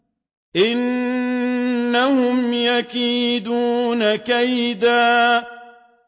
إِنَّهُمْ يَكِيدُونَ كَيْدًا